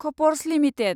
कफर्ज limited